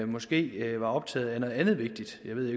måske var optaget af noget andet vigtigt jeg ved